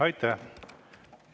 Aitäh!